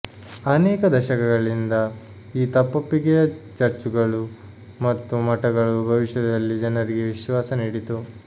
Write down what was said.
ಅನೇಕ ದಶಕಗಳಿಂದ ಈ ತಪ್ಪೊಪ್ಪಿಗೆಯ ಚರ್ಚುಗಳು ಮತ್ತು ಮಠಗಳು ಭವಿಷ್ಯದಲ್ಲಿ ಜನರಿಗೆ ವಿಶ್ವಾಸ ನೀಡಿತು